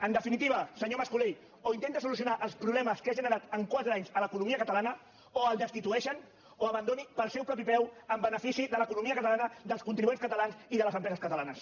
en definitiva senyor mas colell o intenta solucionar els problemes que ha generat en quatre anys a l’economia catalana o el destitueixen o abandoni pel seu propi peu en benefici de l’economia catalana dels contribuents catalans i de les empreses catalanes